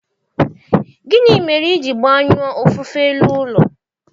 Gịnị mere i ji gbanyụọ ofufe elu ụlọ